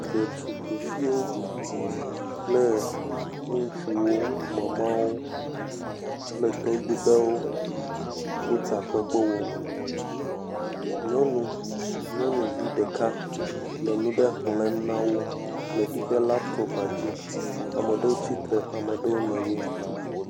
Detugbiviwo kple ŋutsuwo, Mama kple Tɔgbi ɖewo, wo takpekpe wɔm. Nyɔnu, nyɔnuvi ɖeka le nu ɖe xlẽm na wo le yiƒe lapitɔpaa dzi. Ame aɖewo tsi tre, ame aɖewo nɔ anyi.